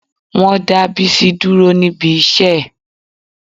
Wọ́n dá Bísí dúró níbi iṣẹ́ ẹ̀